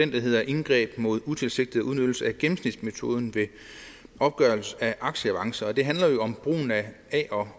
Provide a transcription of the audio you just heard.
hedder indgreb mod utilsigtet udnyttelse af gennemsnitsmetoden ved opgørelse af aktieavancer det handler om brugen af a